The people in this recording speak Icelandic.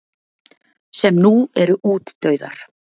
sem nú eru útdauðar.